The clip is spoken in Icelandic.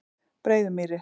Breiðumýri